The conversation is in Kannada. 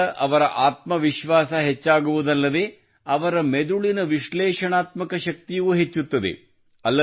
ಇದರಿಂದ ಅವರ ಆತ್ಮವಿಶ್ವಾಸ ಹೆಚ್ಚಾಗುವುದಲ್ಲದೆ ಅವರ ಮೆದುಳಿನ ವಿಶ್ಲೇಷಣಾತ್ಮಕ ಶಕ್ತಿಯೂ ಹೆಚ್ಚುತ್ತದೆ